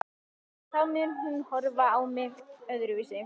Og þá mun hún horfa á mig öðruvísi augum.